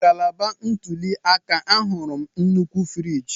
Na ngalaba ntuli aka, ahụrụ m nnukwu friji.